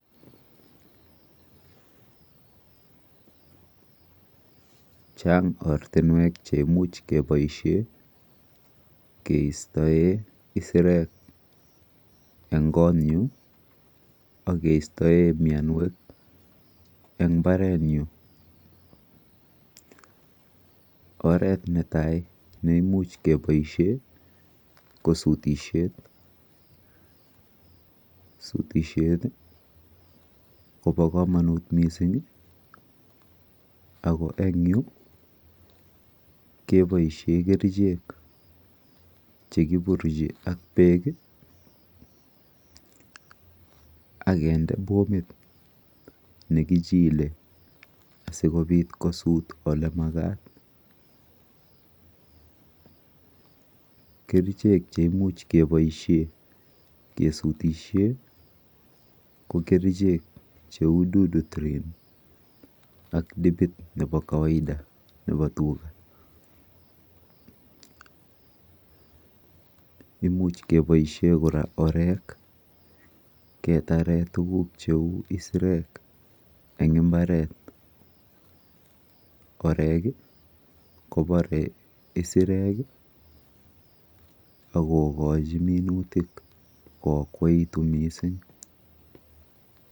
Chang ortinwek cheimuch keboishe keistoe isirek eng konyu akeistoe mienwek eng mbarenyu. Oret netai neimuch keboishe ko sutishet. Sutishet kopo komonut mising ako eng yu keboishe kerichek chekiburuchi ak beek akende pomit nekichile asikobit kosut olemakat. Kerichek cheimuch keboishe kesutishe ko kerichek cheu Dudutrin ak dipit nepo kawaida nepo tuga. Imuch keboishe kora orek ketare tuguk cheu isirek eng mbaret. Orek kopore isirek akokochi minutik koakwoitu mising.